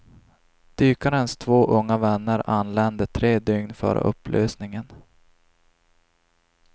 Dykarens två unga vänner anlände tre dygn före upplösningen.